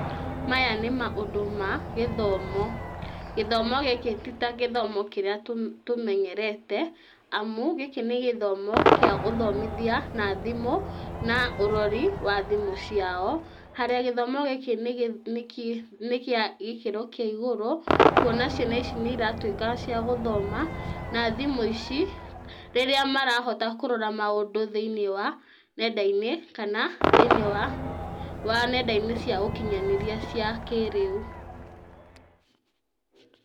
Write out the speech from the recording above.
Maya nĩ maũndũ ma gĩthomo. Gĩthomo gĩkĩ ti ta gĩthomo kĩrĩa tũmenyerete, amu gĩkĩ nĩ gĩthomo kĩa ũthomithia na thimũ na ũrori wa thimũ ciao harĩa gĩthomo gĩkĩ nĩ kĩa gĩkĩro kĩa igũrũ kuona ciana ici nĩiratuĩka cia gũthoma na thimũ ici, rĩrĩa marahota kũrora maũndũ thĩinĩ wa nenda-inĩ kana thĩinĩ wa nenda-inĩ cia ũkinyanĩria cia kĩrĩu.